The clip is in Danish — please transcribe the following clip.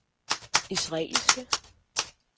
israelske